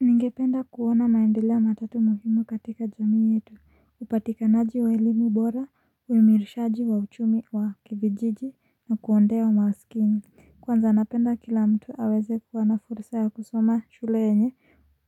Ningependa kuona maendeleo matatu muhimu katika jamii yetu upatikanaji wa elimu bora uimirishaji wa uchumi wa kiijiji na kuwondewa masikini Kwanza napenda kila mtu aweze kuwa na fursa ya kusoma shule yenye